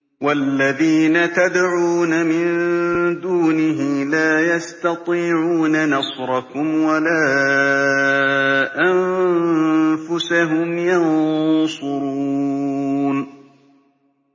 وَالَّذِينَ تَدْعُونَ مِن دُونِهِ لَا يَسْتَطِيعُونَ نَصْرَكُمْ وَلَا أَنفُسَهُمْ يَنصُرُونَ